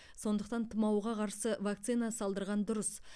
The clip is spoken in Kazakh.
сондықтан тұмауға қарсы вакцина салдырған дұрыс